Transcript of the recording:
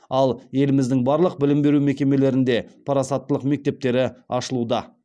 ал еліміздің барлық білім беру мекемелерінде парасаттылық мектептері ашылуда